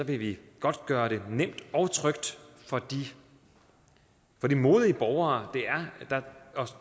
vil vi godt gøre det nemt og trygt for de modige borgere der